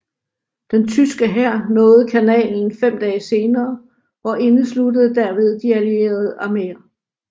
Den tyske hær nåede kanalen fem dage senere og indesluttede derved de allierede arméer